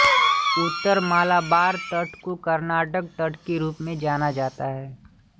उत्तर मालाबार तट को कर्नाटक तट के रूप में जाना जाता है